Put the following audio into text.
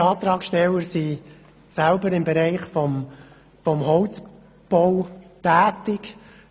Alle Antragssteller sind selber im Bereich des Holzbaus tätig.